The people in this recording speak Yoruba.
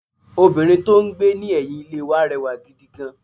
Obìnrin tó n gbé ní ẹ̀yìn Ilé wa rẹwà gidi gan